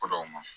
Ko dɔw ma